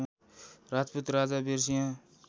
राजपूत राजा वीरसिंह